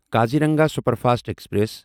Kaziranga superfast express